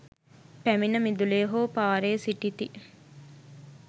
පැමිණ මිදුලේ හෝ පාරේ සිටිති.